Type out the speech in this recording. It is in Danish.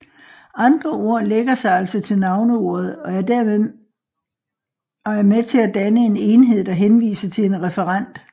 Andre ord lægger sig altså til navneordet og er med til at danne én enhed der henviser til en referent